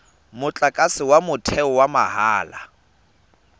motlakase wa motheo wa mahala